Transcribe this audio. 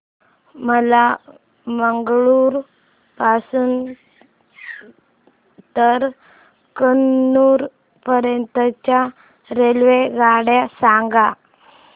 मला मंगळुरू पासून तर कन्नूर पर्यंतच्या रेल्वेगाड्या सांगा